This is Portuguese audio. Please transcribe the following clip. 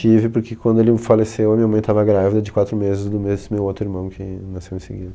Tive, porque quando ele faleceu, a minha mãe estava grávida de quatro meses, do mesmo meu outro irmão que nasceu em seguida.